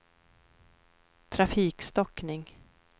trafikstockning